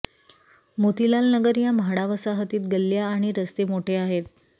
मोतीलाल नगर या म्हाडा वसाहतीत गल्ल्या आणि रस्ते मोठे आहेत